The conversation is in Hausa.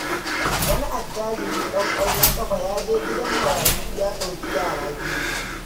Wani attajirin ɗan ƙwallon ƙafa ya je gidan marayu ya ɗauki yara 2.